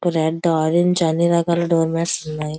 Red orange అన్ని రకాల door mats ఉన్నాయి.